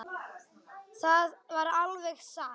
Það var alveg satt.